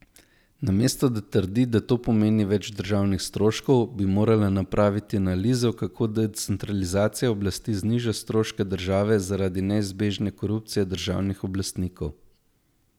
Namesto da trdi, da to pomeni več državnih stroškov, bi morala napraviti analizo, kako decentralizacija oblasti zniža stroške države zaradi neizbežne korupcije državnih oblastnikov.